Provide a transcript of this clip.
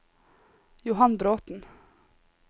Johan Bråten